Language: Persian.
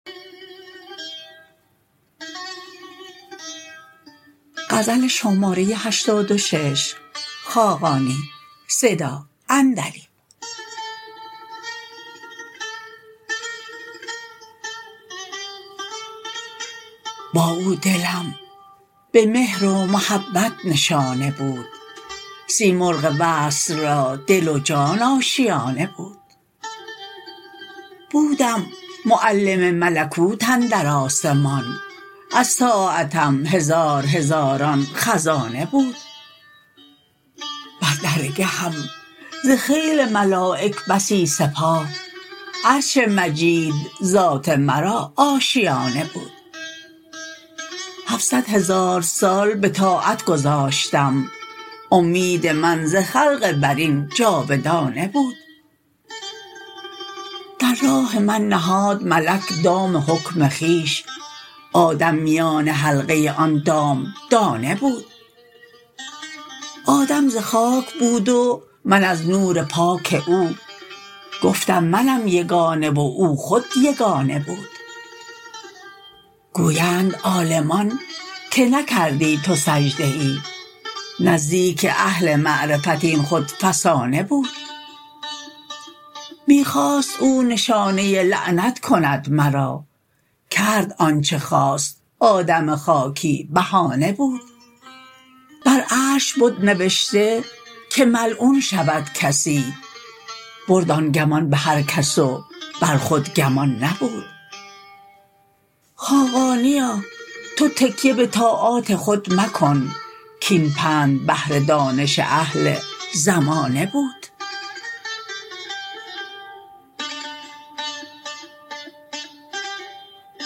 با او دلم به مهر و محبت نشانه بود سیمرغ وصل را دل و جان آشیانه بود بودم معلم ملکوت اندر آسمان از طاعتم هزارهزاران خزانه بود بر درگهم ز خیل ملایک بسی سپاه عرش مجید ذات مرا آشیانه بود هفتصد هزار سال به طاعت گذاشتم امید من ز خلق برین جاودانه بود در راه من نهاد ملک دام حکم خویش آدم میان حلقه آن دام دانه بود آدم ز خاک بود و من از نور پاک او گفتم منم یگانه و او خود یگانه بود گویند عالمان که نکردی تو سجده ای نزدیک اهل معرفت این خود فسانه بود می خواست او نشانه لعنت کند مرا کرد آنچه خواست آدم خاکی بهانه بود بر عرش بد نوشته که ملعون شود کسی برد آن گمان به هر کس و بر خود گمان نبود خاقانیا تو تکیه به طاعات خود مکن کاین پند بهر دانش اهل زمانه بود